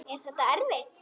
Er þetta erfitt?